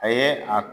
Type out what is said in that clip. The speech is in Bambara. A ye a